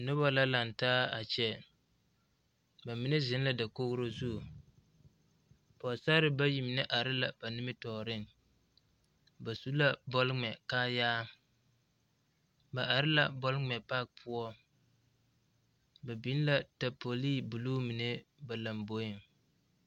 Noba la laŋ taa a kyɛ ba mine zeŋ la dakogri zu pɔgesara bayi mine are la ba nimitɔɔreŋ ba su la bɔl ŋmɛ kaayaa ba are la bɔl ŋmɛ paaki poɔ ba biŋ la taapolii buluu mine ba lomboeŋ.